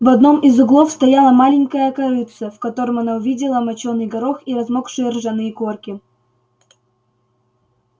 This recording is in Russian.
в одном из углов стояло маленькое корытце в котором она увидела мочёный горох и размокшие ржаные корки